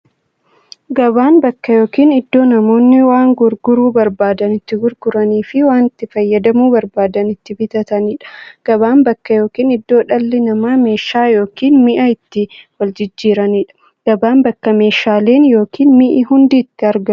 Gabaan bakka yookiin iddoo namoonni waan gurguruu barbaadan itti gurguraniifi waan itti fayyadamuu barbaadan itti bitataniidha. Gabaan bakka yookiin iddoo dhalli namaa meeshaa yookiin mi'a itti waljijjiiraniidha. Gabaan bakka meeshaaleen ykn mi'i hundi itti argamuudha.